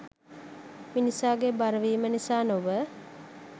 මිනිසාගේ බරවීම නිසා නොව